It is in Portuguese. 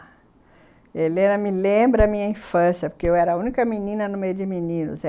A Helena me lembra a minha infância, porque eu era a única menina no meio de meninos.